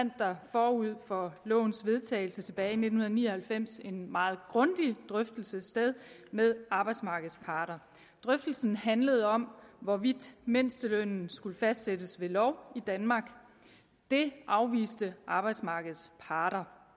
forud for lovens vedtagelse tilbage i nitten ni og halvfems en meget grundig drøftelse sted med arbejdsmarkedets parter drøftelsen handlede om hvorvidt mindstelønnen skulle fastsættes ved lov i danmark det afviste arbejdsmarkedets parter